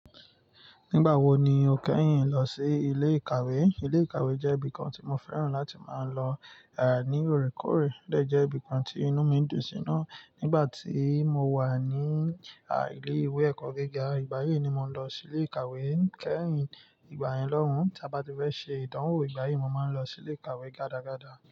Nígbà wo ni o kẹ́yìn lọ sí ilé ìkàwé? Ilé ìkàwé jẹ́ ibìkan tí mo fẹ́ràn láti máa lọ ní òrékòré. Ọ̀ dẹ̀ jẹ́ ibìkan tí inú mi ń dùn sí iná. Nígbà tí mo wà ní a ilé ìwé ẹ̀kọ́ gíga, ìgbà yí ni mò ń lọ sí ilé ìkàwé kẹ́yìn ìgbà yẹn lọ́hùn. Tí a bá ti fẹ́ ṣe ìdánwò ìgbà yí, mo máa ń lọ sí ilé ìkàwé gádagáda.